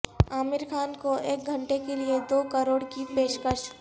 عامر خان کو ایک گھنٹے کے لیے دو کروڑ کی پیشکش